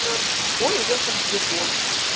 он уехал в депо